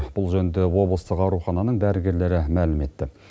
бұл жөнінде облыстық аурухананың дәрігерлері мәлім етті